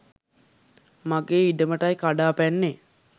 මගේ ඉඩමටයි කඩා පැන්නේ